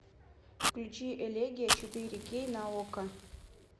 включи элегия четыре кей на окко